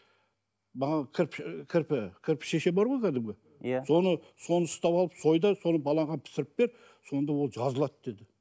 маған кірпі кірпішешен бар ғой кәдімгі иә соны соны ұстап алып сой да соны балаға пісіріп бер сонда ол жазылады деді